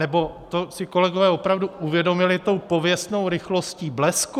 Nebo to si kolegové opravdu uvědomili tou pověstnou rychlostí blesku?